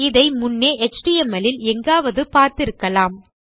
இதை முன்னே எச்டிஎம்எல் இல் எங்காவது பார்த்திருக்கலாம்